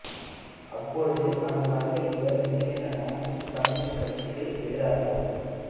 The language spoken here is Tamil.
அப்போது அங்கு வந்த இருவர் திடீரென மார்க்சிஸ்ட் கம்யூனிஸ்ட் கட்சிக்கு எதிராகவும்